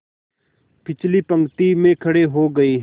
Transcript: पिछली पंक्ति में खड़े हो गए